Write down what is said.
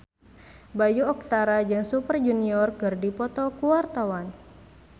Bayu Octara jeung Super Junior keur dipoto ku wartawan